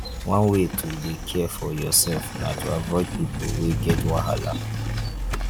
one way to dey care for yoursef na to avoid people wey get wahala.